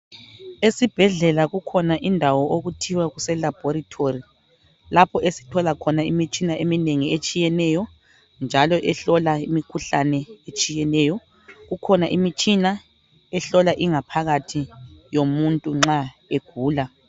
Esibhedlela kukhona indawo okuthiwa kuselabhorithori lapho esithola khona imitshina eminengi etshiyeneyo njalo ehlola imikhuhlane etshiyeneyo. Kukhona imitshina ehlola ingaphakathi yomuntu nxa egula.